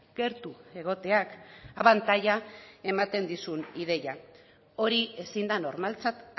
gertu egoteak abantaila ematen dizun ideia hori ezin da normaltzat